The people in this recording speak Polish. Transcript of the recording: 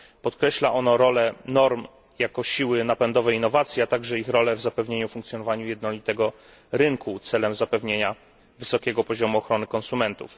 Podkreśla ono rolę norm jako siły napędowej innowacji, a także ich rolę w zapewnieniu funkcjonowania jednolitego rynku celem zapewnienia wysokiego poziomu ochrony konsumentów.